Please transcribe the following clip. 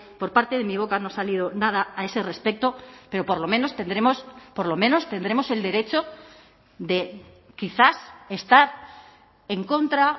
por parte de mi boca no ha salido nada a ese respecto pero por lo menos tendremos por lo menos tendremos el derecho de quizás estar en contra